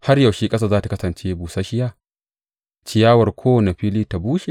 Har yaushe ƙasar za tă kasance busasshiya ciyawar kowane fili ta bushe?